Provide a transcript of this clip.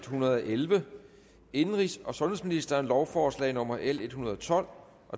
hundrede og elleve indenrigs og sundhedsministeren lovforslag nummer l en hundrede og tolv